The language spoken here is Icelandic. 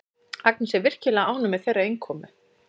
Agnes er virkilega ánægð með þeirra innkomu.